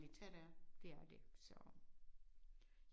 Ja det er